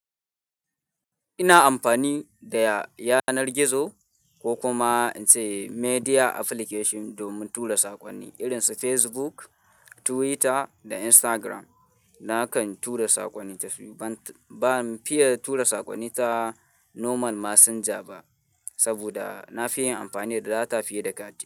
Ina anfani da yanar gizo ko kuma in ce media application domin tura saƙonni irin su Facebook, Twitter, da Instagram. Nakan tura saƙonni tashi, ban fiya tura saƙonni ta normal messenger ba. Saboda na fi yin amfani da data fiye da kati.